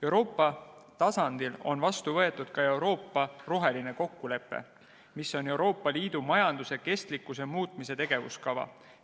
Euroopa tasandil on vastu võetud ka Euroopa roheline kokkulepe, mis on Euroopa Liidu majanduse kestlikkuse muutmise tegevuskava.